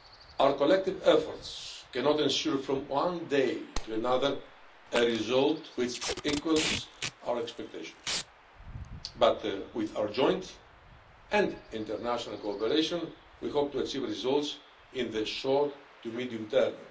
Our collective efforts cannot ensure from one day to another a result which equals our expectations, but with our joint and international cooperation we hope to achieve results in the short to medium term.